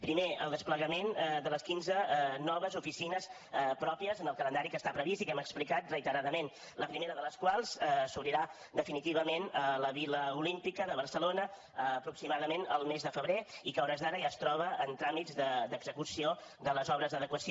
primer el desplegament de les quinze noves oficines pròpies en el calendari que està previst i que hem explicat reiteradament la primera de les quals s’obrirà definitivament a la vila olímpica de barcelona aproximadament al mes de febrer i que a hores d’ara ja es troba en tràmits d’execució de les obres d’adequació